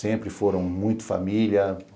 Sempre foram muito família.